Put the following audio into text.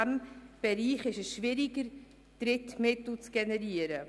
In diesem Bereich ist es schwieriger, Drittmittel zu generieren.